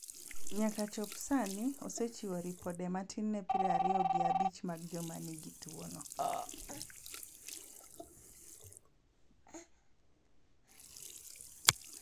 Nyaka chop sani, osechiwo ripode matin ne piero ario gi abich mag joma nigi tuwono.